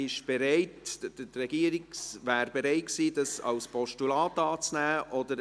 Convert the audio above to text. Die Regierung wäre bereit gewesen, diese als Postulat anzunehmen.